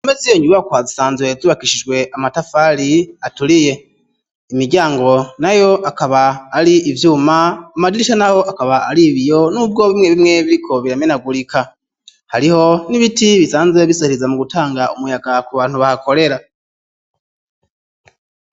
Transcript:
Impome z'iyo nyubakwa zisanzwe zubakishijwe amatafari aturiye, imiryango nayo akaba ari ivyuma ,amadirisha nayo akaba ari ibiyo n'ubwo bimwe bimwe biriko biramenagurika . Hariho n'ibiti bisanzwe bisahiriza mu gutanga umuyaga ku bantu bahakorera.